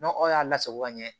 N'aw y'a lasago ka ɲɛ